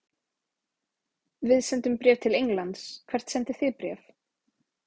Við sendum bréf til Englands. Hvert sendið þið bréf?